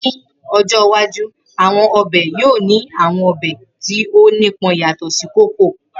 Ni ojo iwaju, awọn ọbẹ yoo ni awọn ọbẹ ti o nipọn yatọ si koko.